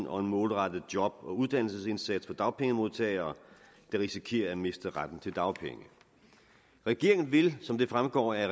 og en målrettet job og uddannelsesindsats for dagpengemodtagere der risikerer at miste retten til dagpenge regeringen vil som det fremgår af